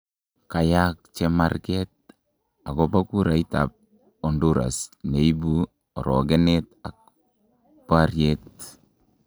Kayaak cheemarkeet akobo kurait ab Honduras neibu arookenet ak baaryet